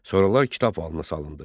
Sonralar kitab halına salındı.